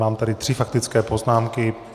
Mám tady tři faktické poznámky.